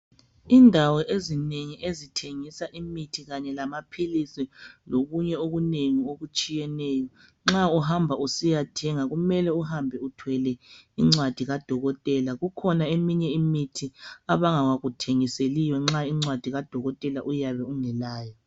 Indawo ezinengi ezithengisa imithi kanye lamaphilisi lokunye okunengi okutshiyeneyo nxa uhamba usiyathenga kumele uhambe uthwele incwadi kadokotela. Kukhona eminye imithi abangakuthengiseliyo nxa incwadi kadokotela uyabe ungelayo.